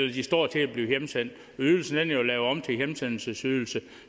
de står til at blive hjemsendt ydelsen er jo lavet om til en hjemsendelsesydelse